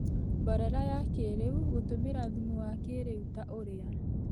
Mborera ya kĩrĩu:Gũtũmĩra thumu wa kĩrĩu, ta ũrĩa